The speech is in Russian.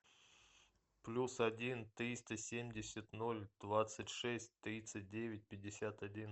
плюс один триста семьдесят ноль двадцать шесть тридцать девять пятьдесят один